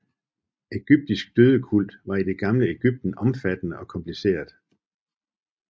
Ægyptisk dødekult var i det gamle Ægypten omfattende og kompliceret